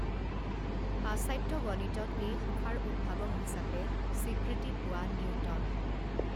পাশ্চাত্য গণিতত এই শাখাৰ উদ্ভাৱক হিচাপে স্বীকৃতি পোৱা নিউটন